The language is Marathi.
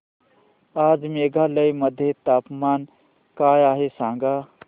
आज मेघालय मध्ये तापमान काय आहे सांगा